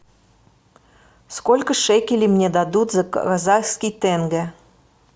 сколько шекелей мне дадут за казахский тенге